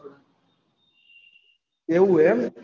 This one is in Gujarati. એવું એમ